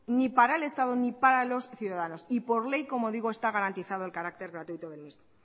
ni para el estado ni para los ciudadanos y por ley como digo está garantizado el carácter gratuito del mismo